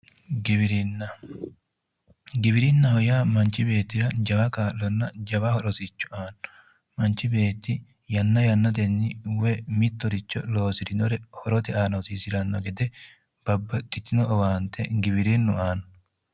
Giwirinna, giwirinnaho yaa manchu beettira jawa kaa'lonna jawa rosicho aanno manchi beetti yanna yannatenni mittoricho loosirinnore horote aana hosiisiranno gede babbaxitino owaante giwirinnu aanno.